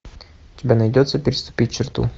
у тебя найдется переступить черту